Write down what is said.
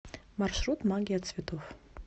маршрут магия цветов